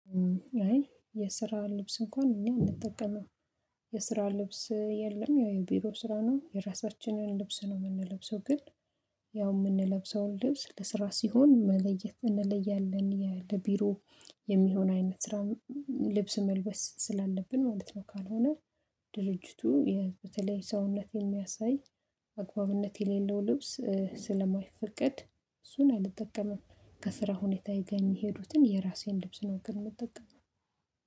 አይ የስራ ልብስ እንኳን እኛ አንጠቀምም። የስራ ልብስ የለም የቢሮ ስራ ነው የራሳችንን ልብስ ነው የምንለብሰው። ግን ያው የምንለብሰውን ልብስ ለስራ ሲሆን መለየት እንለያለን የቢሮ የሚሆን አይነት ስራ ልብስ መልበስ ስላለብን ማለት ነው። ካልሆነ ድርጅቱ በተለይ ሰውነት የሚያሳይ አግባብነት የሌለው ልብስ ስለማይፈቀድ እሱን አልጠቀምም። ከስራ ሁኔታዬጋ የሚሄዱትን የራሴን ልብስ ነው ግን የምጠቀመው።